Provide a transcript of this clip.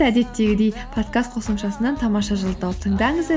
әдеттегідей подкаст қосымшасынан тамаша жыл ды тауып тыңдаңыздар